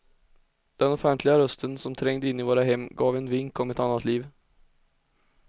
Den offentliga rösten som trängde in i våra hem gav en vink om ett annat liv.